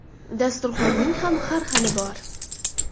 Dasturxonning ham har xili bor.